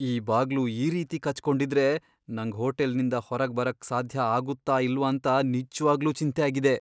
ಈ ಬಾಗ್ಲು ಈ ರೀತಿ ಕಚ್ ಕೊಂಡಿದ್ರೆ ನಂಗ್ ಹೋಟೆಲ್ನಿಂದ ಹೊರಗ್ ಬರಕ್ ಸಾಧ್ಯ ಆಗುತ್ತಾ ಇಲ್ವಂತ ನಿಜ್ವಾಗ್ಲೂ ಚಿಂತೆ ಆಗಿದೆ.